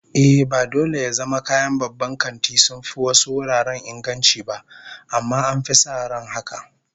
Ehh, ba dole ya zama kayan babban kanti sun fi wasu wuraren inganci ba, amma an fi sa ran haka